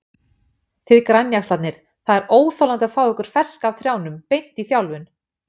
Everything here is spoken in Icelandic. Þið grænjaxlarnir, það er óþolandi að fá ykkur ferska af trjánum, beint í þjálfun.